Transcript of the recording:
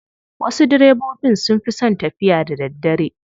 Wasu direbobin sun fi son tafiya da daddare.